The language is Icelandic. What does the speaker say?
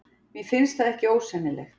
Mér finnst það ekki ósennilegt.